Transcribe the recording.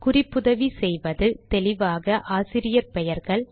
குறிப்புதவி செய்வது தெளிவாக ஆசிரியர் பெயர்கள்